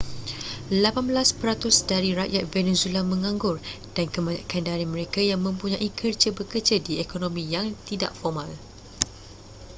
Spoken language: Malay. lapan belas peratus dari rakyat venezuela menganggur dan kebanyakan dari mereka yang mempunyai kerja bekerja di ekonomi yang tidak formal